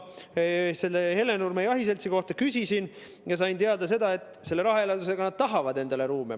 Selle Hellenurme Jahiseltsi kohta ma küsisin ja sain teada, et selle rahaeraldise abil nad tahavad endale ruume saada.